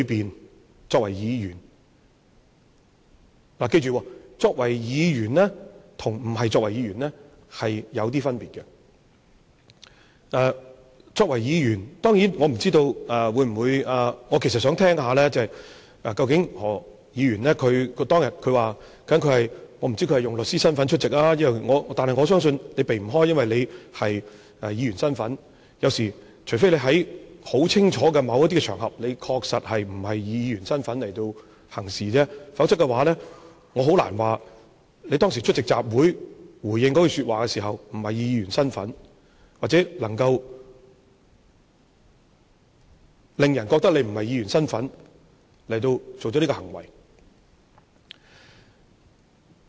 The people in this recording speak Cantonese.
他作為議員，大家要記着，作為議員跟不是作為議員有些分別，作為議員，當然，我其實是想聽聽何議員說，他當天究竟是以律師身份出席還是甚麼，但我相信他不能避開，因為他是議員，除非他在很清楚的某一些場合確實不是以議員身份行事，否則我很難說，他當時出席集會回應那句說話時，不是以議員身份去做，或者能夠令人覺得他不是以議員身份作出這行為。